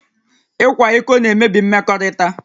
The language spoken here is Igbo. Ịkwa iko na-emebi mmekọrịta